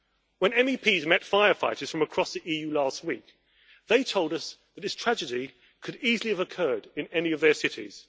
When MEPs met firefighters from across the EU last week, they told us that this tragedy could easily have occurred in any of their cities.